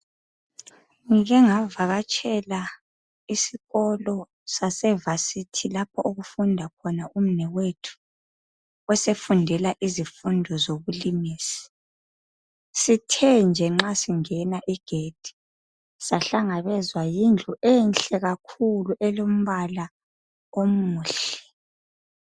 Ngike ngavakatshela esikolo sasevasithi lapho okufunda khona umnewethu osefundela izifundo zobulimisi . Sithe nje nxa singena igedi sahlangabezwa yindlu enhle kakhulu elombala omuhle .